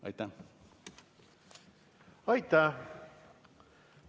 Aitäh!